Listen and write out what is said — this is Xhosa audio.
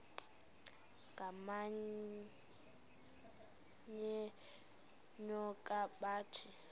ngamanyal enyoka bathi